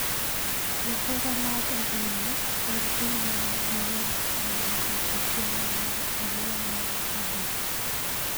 Johera mag adhulo pod dhi nyime gi wer ka gi rito tielo mar ariyo mar tugo.